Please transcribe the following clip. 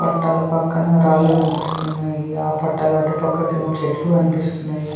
పట్టాలు పక్కన రాళ్ళు కనిపిస్తున్నాయి ఆ పట్టాల అటుపక్కకు ఏమో చెట్లు కనిపిస్తున్నాయి.